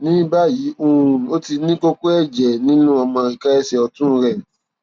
ní báyìí um ó ti ní kókó ẹjẹ nínú ọmọ ìka ẹsẹ ọtún rẹ